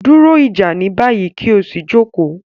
Duro ija ni bayi, ki o si joko